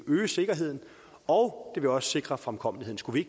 øge sikkerheden og det ville også sikre fremkommeligheden skulle vi